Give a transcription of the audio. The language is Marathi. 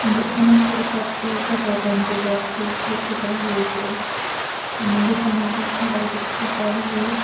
म्हणजे अनेक प्रकारचे फटाक्यांचे बॉक्सेस दिसत आहेत इथे आणि दुकानाचाच हा डायरेक्ट फोटो आहे.